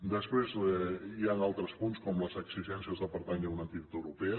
després hi han altres punts com les exigències de pertànyer a una entitat europea